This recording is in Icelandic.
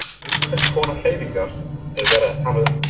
En um hvers konar hreyfingu er verið að tala um?